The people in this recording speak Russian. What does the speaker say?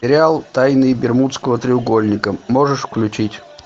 сериал тайны бермудского треугольника можешь включить